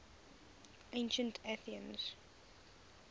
ancient athenians